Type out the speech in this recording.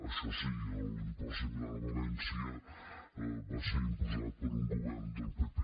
això sí l’impost similar a valència va ser imposat per un govern del pp